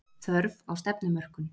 Þörf á stefnumörkun